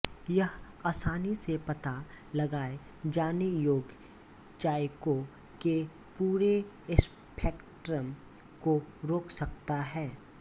यह आसानी से पता लगाए जाने योग्य जायकों के पूरे स्पेक्ट्रम को रोक सकता है